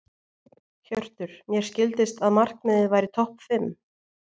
Hjörtur: Mér skildist að markmiðið væri topp fimm?